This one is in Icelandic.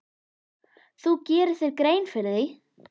Þú gerir þér grein fyrir því.